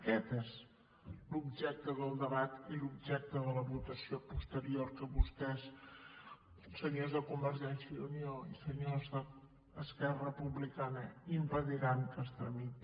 aquest és l’objecte del debat i l’objecte de la votació posterior que vostès senyors de convergència i unió i senyors d’esquerra republicana impediran que es tramiti